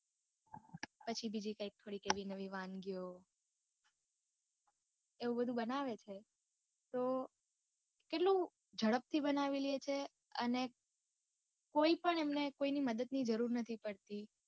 પછી બીજી કઈક થોડીક એવી નવી વાનગીઓ એવું બધુ બનાવે છે તો કેટલું જડપથી બનાવી લે છે અને કોય પણ એમને કોઇની મદદ ની જરૂર નથી પડતી.